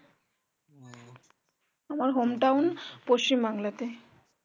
আমার home town পশ্চিম বাংলাতে